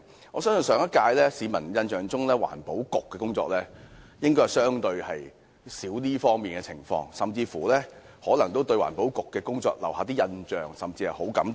我相信，在市民的印象中，上屆政府環境局的工作應該較少受到批評，有市民甚至可能對該局的工作留下好感。